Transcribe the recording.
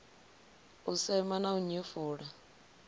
u sema na u nyefula